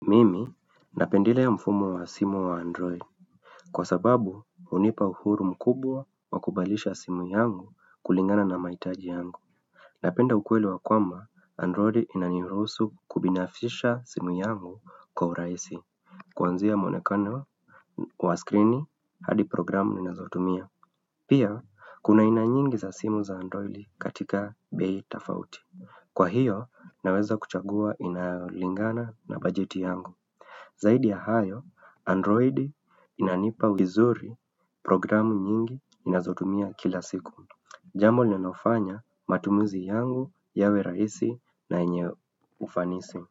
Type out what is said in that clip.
Mimi napendelea mfumo wa simu wa android Kwa sababu hunipa uhuru mkubwa wa kubalisha simu yangu kulingana na mahitaji yangu Napenda ukweli wa kwamba android inanirusu kubinafisha simu yangu kwa uraisi Kwanzia muonekono wa screen hadi programu ninazotumia Pia kuna aina nyingi za simu za android katika bei tafauti Kwa hiyo naweza kuchagua inayolingana na budget yangu Zaidi ya hayo, Android inanipa wizuri programu nyingi ninazotumia kila siku. Jambo linaofanya matumizi yangu yawe raisi na yenye ufanisi.